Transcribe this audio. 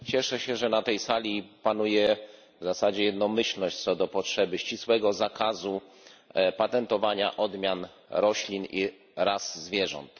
Cieszę się, że na tej sali panuje w zasadzie jednomyślność co do potrzeby ścisłego zakazu patentowania odmian roślin i ras zwierząt.